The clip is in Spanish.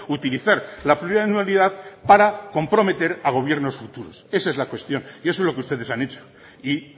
utilizar la plurianualidad para comprometer a gobiernos futuros esa es la cuestión y eso es lo que ustedes han hecho y